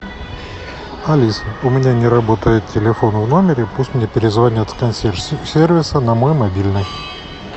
алиса у меня не работает телефон в номере пусть мне перезвонят с консьерж сервиса на мой мобильный